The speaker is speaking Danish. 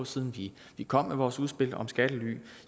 siden vi vi kom med vores udspil om skattely